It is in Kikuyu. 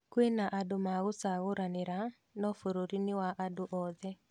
Kwĩ na andũ ma gucagũranira no bũrũri ni wa andu othee